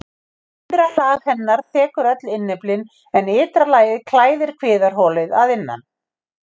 Innra lag hennar þekur öll innyflin en ytra lagið klæðir kviðarholið að innan.